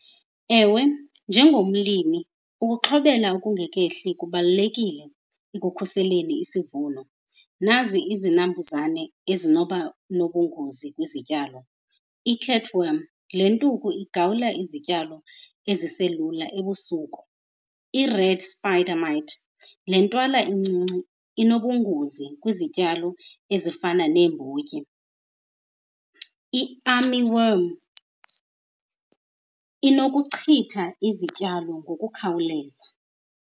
Ewe, njengomlimi ukuxhobela okungekehli kubalulekile ekukhuseleni isivuno. Nazi izinambuzane ezinoba nobungozi kwizityalo. I-catworm, le ntuku igawula izityalo eziselula ebusuku. I-red spider mite, le ntwala incinci inobungozi kwizityalo ezifana neembotyi. I-army worm inokuchitha izityalo ngokukhawuleza.